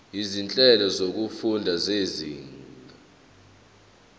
izinhlelo zokufunda zezinga